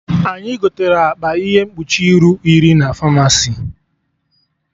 Anyị gotere akpa ihe mkpuchi iru iri na Famasi